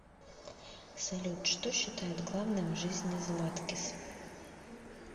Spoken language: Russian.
салют что считает главным в жизни златкис